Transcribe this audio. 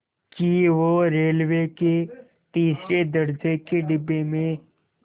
कि वो रेलवे के तीसरे दर्ज़े के डिब्बे में